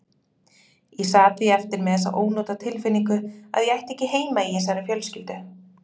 Ég sat því eftir með þessa ónotatilfinningu að ég ætti ekki heima í þessari fjölskyldu.